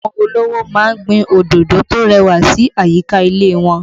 Àwọn olówó ma ń gbin òdòdó tó rẹwà sí àyíká ilé wọn